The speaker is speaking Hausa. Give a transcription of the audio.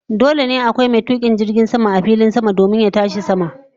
Dole ne akwai mai tukin jirgin sama domin jirgin sama ya tashi sama.